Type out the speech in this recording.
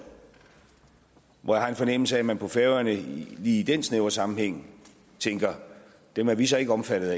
hvor jeg har en fornemmelse af at man på færøerne i den snævre sammenhæng tænker dem er vi så ikke omfattet